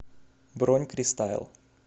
бронь кристайл